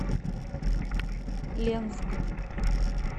ленск